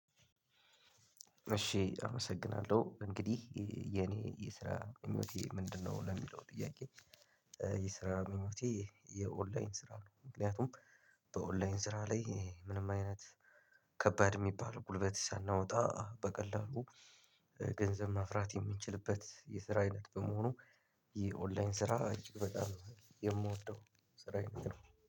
እሺ አመሰግናለሁ እንግዲህ የኔ የስራ ምኞቴ ምንድነው ለሚለው ጥያቄ? የስራ ምኞቴ የኦንላይን ስራ ነው። ምክንያቱም በኦንላይን ስራ ላይ ምንም አይነት ከባድ ሚባል ጉልበት ሳናወጣ በቀላሉ። ገንዘብ ማፍራት የምንችልበት የስራ አይነት በመሆኑ የኦንላይን ስራ እጅግ በጣም የምወደው ስራ አይነት ነው።